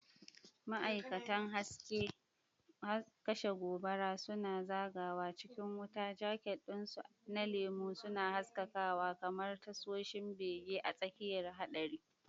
Ma'aikatan kashe gobara suna zagawa cikin wuta, jaket ɗinsu na lemu suna haskakawa kamar tasoshin bege a tsakiyar haɗari.